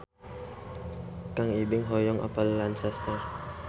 Kang Ibing hoyong apal Lancaster